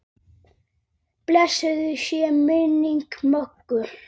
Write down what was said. Blessuð sé minning Möggu.